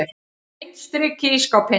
Beint strik í ísskápinn.